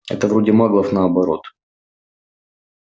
это вроде маглов наоборот